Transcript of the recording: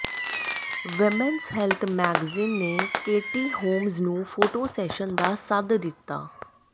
ਵ੍ਹੱਮਜ਼ health magazine ਨੇ Katie Holmes ਨੂੰ photo session ਦਾ ਸੱਦਾ ਦਿੱਤਾ